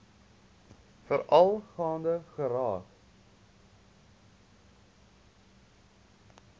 veral gaande geraak